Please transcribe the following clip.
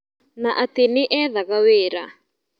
Na atĩ nĩethaga wĩra.